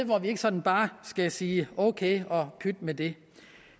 hvor vi ikke sådan bare skal sige ok og pyt med det